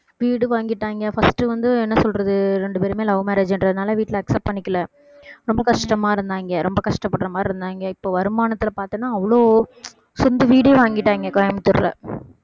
வீடு வாங்கிட்டாங்க first வந்து என்ன சொல்றது ரெண்டு பேருமே love marriage ன்றதுனால வீட்டுல accept பண்ணிக்கல ரொம்ப கஷ்டமா இருந்தாங்க ரொம்ப கஷ்டப்படுற மாதிரி இருந்தாங்க இப்ப வருமானத்துல பார்த்தோம்னா அவ்வளவு சொந்த வீடே வாங்கிட்டாங்க கோயம்புத்தூர்ல